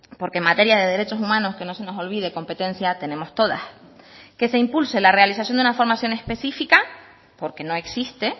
porque en materia de derechos humanos que no se nos olvide competencia tenemos todas que se impulse la realización de una formación específica porque no existe